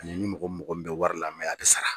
Ani ni mɔgɔ min maga bɛ wari la a bɛ sara